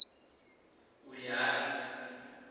uyati